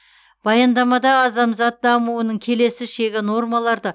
баяндамада адамзат дамуының келесі шегі нормаларды